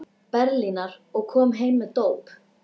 Berlínar, og kom heim með dóp.